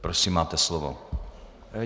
Prosím, máte slovo.